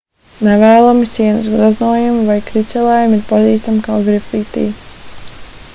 nevēlami sienas gleznojumi vai kricelējumi ir pazīstami kā grafiti